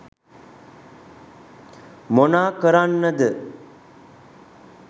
මොනා කරන්නද